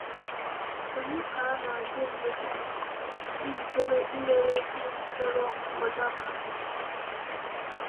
Ònye ka na-adị mgbe niile njikere inyere ndị chọrọ nkwado aka?